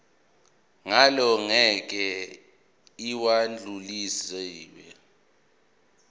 ngalo ngeke lwadluliselwa